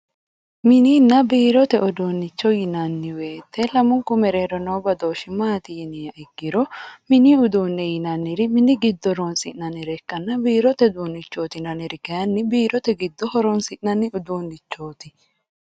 Mininna biirote uduunicho yinnanni woyte lamunku mereero noo badooshi maati yinniha ikkiro mini uduune yinnanniri mini giddo horonsi'nannire ikkanna biirote uduunichoti yinnanniri kayinni biirote giddo horonsi'nanni uduunichoti.